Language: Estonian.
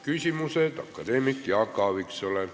Küsimused akadeemik Jaak Aaviksoole.